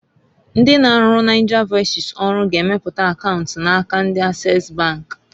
Ndi na-arụrụ Nigervoices ọrụ g'emepe akaunt na aka ndi Access bank.